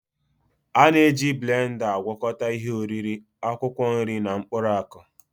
A na-eji blenda agwakọta ihe oriri, akwụkwọ nri na mkpụrụ akụ